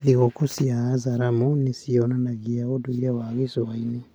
Thigũkũ cia Azaramo nĩ cionanagia ũndũire wa gĩcũa-inĩ.